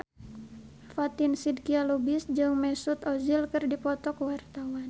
Fatin Shidqia Lubis jeung Mesut Ozil keur dipoto ku wartawan